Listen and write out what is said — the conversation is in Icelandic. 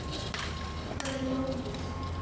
Það er lóðið.